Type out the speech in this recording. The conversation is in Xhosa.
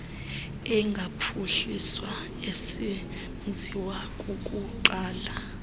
engaphuhliswa esenziwa kukunqaba